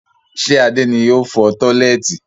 Ṣé Adé ni ó fọ tọ́lẹ́ẹ́tì?